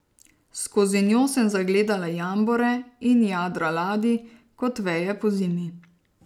Skozi njo sem zagledala jambore in jadra ladij kot veje pozimi.